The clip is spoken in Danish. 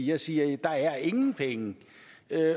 jeg siger der er ingen penge